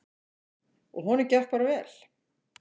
Og honum gekk bara vel.